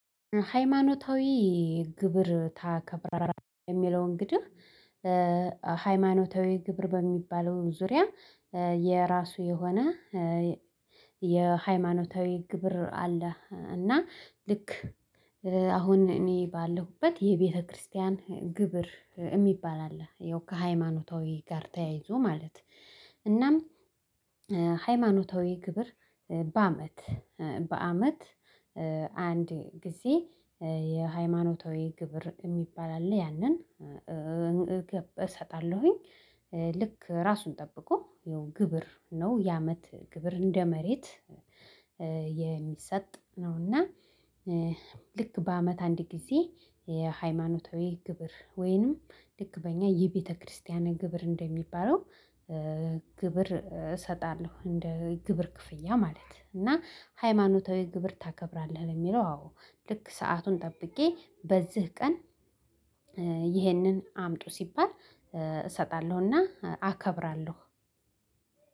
ሃይማኖታዊ ግብር ታከብራለህ የሚለውን ግድህ? ሃይማኖታዊ ግብር በሚባለው ዙሪያ የራሱ የሆነ የሃይማኖታዊ ግብር አለ። እና ልክ አሁን እኔ ባለሁበት የቤተክርስቲያን ግብር የሚባል አለ ያው ሃይማኖታዊ ጋር ተያይዞ ማለት። እናም ሃይማኖታዊ ግብር በአመት በአመት አንድ ጊዜ የሃይማኖታዊ ግብር የሚባል አለ። ያንን እሰጣለሁኝ። ልክ ራሱን ጠብቆ የሆነ ግብር ነው የአመት ግብር እንደ መሬት የሚሰጥ ነውና። ልክ በአመት አንድ ጊዜ የሃይማኖታዊ ግብር ወይንም ልክበኛ የቤተክርስቲያን ግብር እንደሚባለው ግብር እሰጣለሁ እንደ ግብር ክፍያ ማለት ነው። እና ሃይማኖታዊ ግብር ታከብራለህ የሚለው? አዎ ልክ ሰአቱን ጠብቄ በዚህ ቀን ይህንን አምጡ ሲባል እሰጣለሁና አከብራለሁ።